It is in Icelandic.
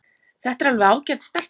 Þetta er alveg ágæt stelpa.